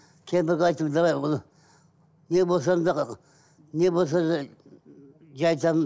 кемпірге айттым давай оны не болсаң да не болса да жай там